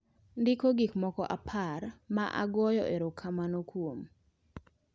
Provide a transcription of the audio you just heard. Ndiko gik moko apar ma agoyo erokamano kuom